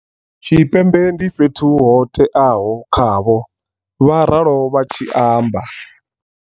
Tshipembe, ndi fhethu ho teaho khavho, vha ralo vha tshi amba.